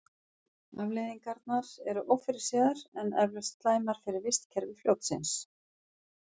Afleiðingarnar eru ófyrirséðar en eflaust slæmar fyrir vistkerfi fljótsins.